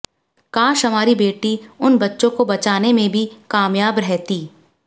काश हमारी बेटी उन बच्चों को बचाने में भी कामयाब रहती